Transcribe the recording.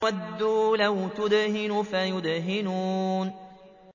وَدُّوا لَوْ تُدْهِنُ فَيُدْهِنُونَ